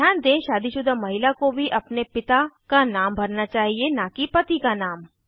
ध्यान दें शादीशुदा महिला को भी अपने पिता का नाम भरना चाहिए न कि पति का नाम